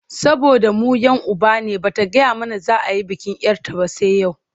Saboda mu 'yan uba ne ba ta gaya mana za a yi bikin 'yar ta ba sai yau?